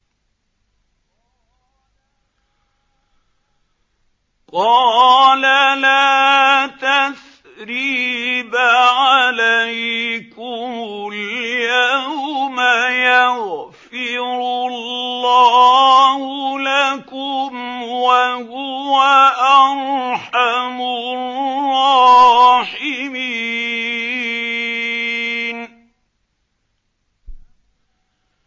قَالَ لَا تَثْرِيبَ عَلَيْكُمُ الْيَوْمَ ۖ يَغْفِرُ اللَّهُ لَكُمْ ۖ وَهُوَ أَرْحَمُ الرَّاحِمِينَ